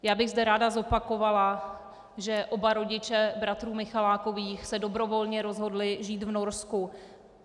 Já bych zde ráda zopakovala, že oba rodiče bratrů Michalákových se dobrovolně rozhodli žít v Norsku.